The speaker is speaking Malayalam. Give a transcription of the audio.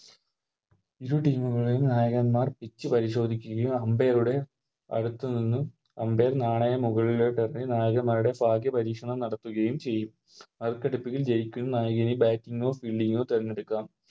ഇരു Team കളിൽ നായകന്മാർ Pitch പരിശോധിക്കുകയും Umpire ടെ അടുത്ത് നിന്ന് Umpire നാണയം മുകളിലോട്ടെറിഞ്ഞ് നായകൻമ്മാരുടെ ഭാഗ്യ പരീക്ഷണം നടത്തുകയും ചെയ്യും നറുക്കെടുപ്പിൽ ജയിക്കുന്ന നായകന് Bating ഓ Fielding ഓ തെരഞ്ഞെടുക്കാം